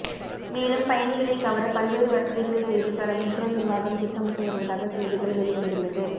மேலும் பயணிகளை கவர பல்வேறு வசதிகளை செய்து தர மெட்ரோ நிர்வாகம் திட்டமிட்டு வருவதாக செய்திகள் வெளிவந்துள்ளது